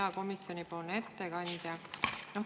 Hea komisjoni ettekandja!